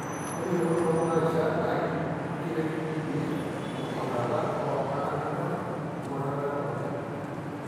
ore eyiolounoto okuna rishat na ikiret iyie tengurata oltungana linyor we ngurata edukuya .